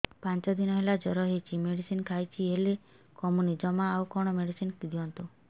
ପାଞ୍ଚ ଦିନ ହେଲା ଜର ହଉଛି ମେଡିସିନ ଖାଇଛି ହେଲେ କମୁନି ଜମା ଆଉ କଣ ମେଡ଼ିସିନ ଦିଅନ୍ତୁ